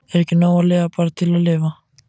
Er ekki nóg að lifa bara til að lifa?